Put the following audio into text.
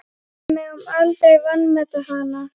Við megum aldrei vanmeta hana.